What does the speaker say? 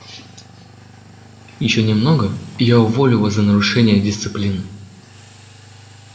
ещё немного и я уволю вас за нарушение дисциплины